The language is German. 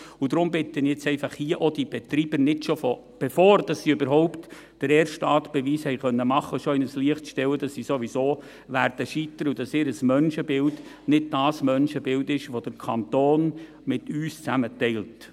Deshalb bitte ich jetzt einfach auch, hier nicht schon die Betreiber, bevor sie überhaupt den ersten Tatbeweis erbringen konnten, in ein Licht zu stellen, dass sie sowieso scheitern werden und dass ihr Menschenbild nicht das Menschenbild ist, welches der Kanton mit uns teilt.